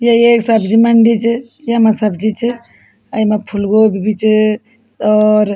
यी ये सब्जी मंडी च यमा सब्जी च अ येमा फूल गोभी भी च और --